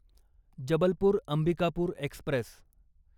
Jabalpur Ambikapur Express